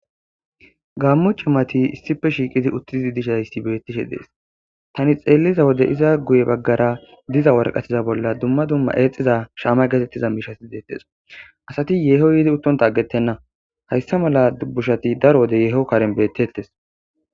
Gaammu ci mati issife shiiqizi uttididi dishaysi bettishe dees tani xeelliza wode iza guye baggara diza warqatiza bolla dumma dumma eexiza shaama getettiza miishasi dettesa asati yeeho yiidi uttonta aggetenna hayssa mala dubbushati daro wode yeeho karen bettettes.